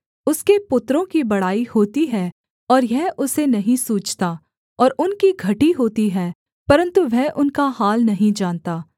उसके पुत्रों की बड़ाई होती है और यह उसे नहीं सूझता और उनकी घटी होती है परन्तु वह उनका हाल नहीं जानता